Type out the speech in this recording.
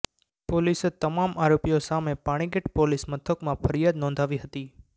પોલીસે તમામ આરોપીઓ સામે પાણીગેટ પોલીસ મથકમાં ફરિયાદ નોંધાવી હતી